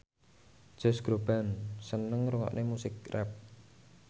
Josh Groban seneng ngrungokne musik rap